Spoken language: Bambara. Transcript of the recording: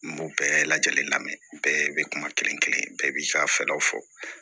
N b'o bɛɛ lajɛlen lamɛ bɛɛ be kuma kelen kelen bɛɛ b'i ka fɛɛrɛw fɔ